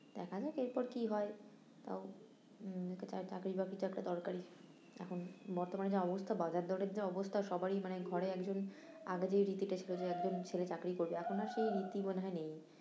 দেখা যাক এরপর কি হয়, তাও উম একটা চা~ চাকরি বাকরি তো একটা দরকারি, এখন বর্তমানে যা অবস্থা বাজার দরের যা অবস্থা সবাই মানে ঘরে একজন, আগে যেই রীতিটা ছিলো যে এখন ছেলে চাকরি করবে এখন আর সেই রীতি বোধহয় নেই